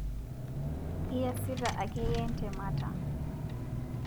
iyasita ake yie ntemata